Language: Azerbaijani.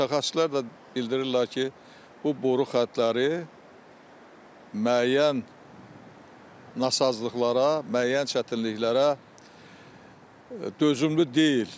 Mütəxəssislər də bildirirlər ki, bu boru xəttləri müəyyən nasazlıqlara, müəyyən çətinliklərə dözümlü deyil.